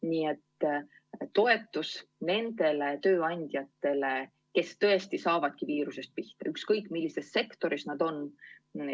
See oleks toetus nendele tööandjatele, kes tõesti saavadki viiruse tõttu hoobi, ükskõik millises sektoris nad on.